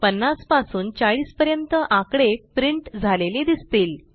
50 पासून 40 पर्यंत आकडे प्रिंट झालेले दिसतील